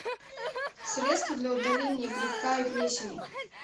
средство для удаления грибка и плесени